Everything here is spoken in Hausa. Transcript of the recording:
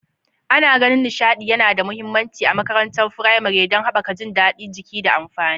Ana ganin nishaɗi yana da mahimmanci a makarantun firamare don haɓaka jin daɗin jiki da tunani.